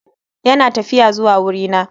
Yana tafiya zuwa wurina.